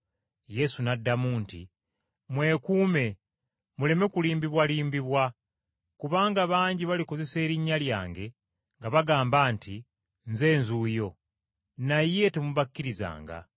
Yesu n’addamu nti, “Mwekuume muleme kulimbibwalimbibwa. Kubanga bangi balikozesa erinnya lyange, nga bagamba nti, ‘Nze nzuuyo.’ Naye temubakkirizanga.